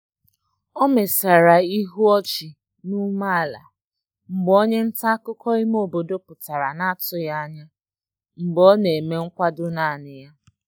O mesara ihu ọchị na ume ala mgbe onye nta akụkọ ime obodo pụtara na atụghị anya mgbe ọ ọ na-eme nkwado naanị ya